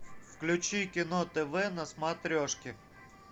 включи кино тв на смотрешке